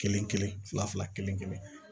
Kelen kelen fila fila kelen kelen